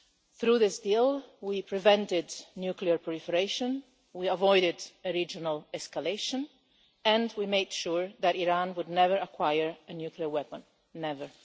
Through this deal we prevented nuclear proliferation, we avoided a regional escalation and we made sure that Iran would never acquire a nuclear weapon ever.